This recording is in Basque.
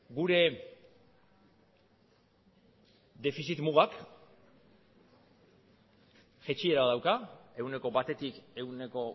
gure defizit mugak jaitsiera dauka ehuneko batetik ehuneko